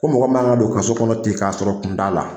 Ko mɔgɔ man ka don kaso kɔnɔ tɛ k'a sɔrɔ kun t'a la